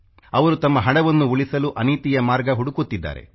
ಅವರು ತಮ್ಮ ಹಣವನ್ನು ಉಳಿಸಲು ಅನೀತಿಯ ಮಾರ್ಗ ಹುಡುಕುತ್ತಿದ್ದಾರೆ